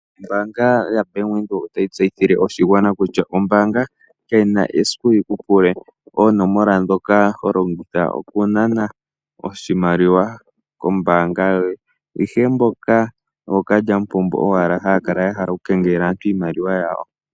Ombaanga yaBank Windhoek otayi tseyithile oshigwana kutya, ombaanga kayina esiku yiku pule oonomola ndhoka ho longitha okunana oshimaliwa kombaanga yoye. Ihe mboka ookalyamupombo owala haya kala yahala okukengelela aantu iimaliwa yawo.